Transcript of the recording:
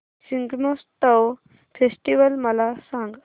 Shigmotsav festival मला सांग